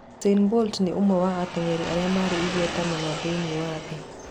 Usain Bolt nĩ ũmwe wa ateng’eri arĩa marĩ igweta mũno thĩinĩ wa thĩ.